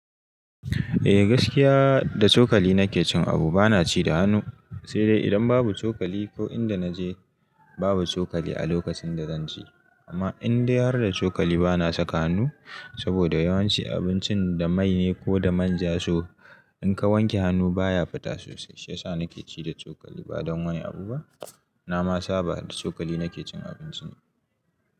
Eh gaskiya da cokali nake cin abu, bana ci da hannu. Sai dai idan babu cokali ko inda naje babu cokali a lokacin da zan ci. Amma indai har da cokali bana saka hannu saboda yawanci abincin da mai ne ko da manja so, in ka wanke hannu baya fita sosai. Shi yasa nake ci da cokali ba don wani abu ba. Na masa ba da cokali nake cin abinci ne.